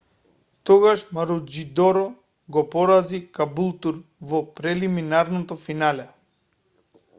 тогаш маручидор го порази кабултур во прелиминарното финале